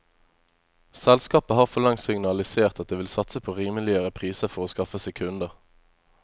Selskapet har for lengst signalisert at det vil satse på rimeligere priser for å skaffe seg kunder.